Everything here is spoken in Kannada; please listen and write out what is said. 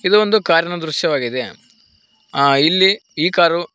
ಇದು ಒಂದು ಕಾರಿನ ದೃಶ್ಯವಾಗಿದೆ ಆ ಇಲ್ಲಿ ಈ ಕಾರು--